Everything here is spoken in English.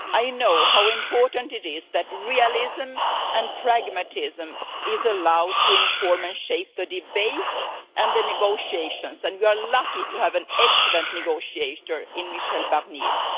I know how important it is that realism and pragmatism is allowed to inform and shape the debate and the negotiations, and we are lucky to have an excellent negotiator in Michel Barnier.